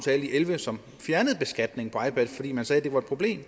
elleve som fjernede beskatningen på ipads fordi man sagde at det var et problem